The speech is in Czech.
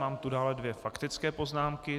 Mám tu dále dvě faktické poznámky.